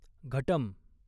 घटम्